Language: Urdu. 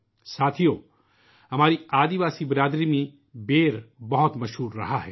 ساتھیو ، ہمارے قبائلی سماج میں بیر بہت مقبول ہوتے ہیں